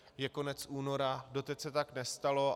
Je konec února, doteď se tak nestalo.